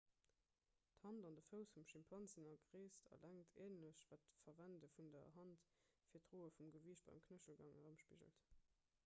d'hand an de fouss vum schimpans sinn a gréisst a längt änlech wat d'verwende vun der hand fir d'droe vum gewiicht beim knéchelgang erëmspigelt